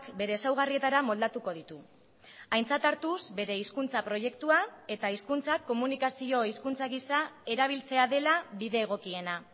bere ezaugarrietara moldatuko ditu aintzat hartuz bere hizkuntza proiektua eta hizkuntza komunikazio hizkuntza gisa erabiltzea dela bide egokiena